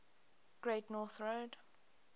great north road